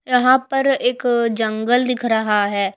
यहां पर एक जंगल दिख रहा है।